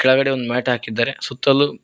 ಕೆಳಗಡೆ ಒಂದ್ ಮ್ಯಾಟ್ ಹಾಕಿದ್ದಾರೆ ಸುತ್ತಲು--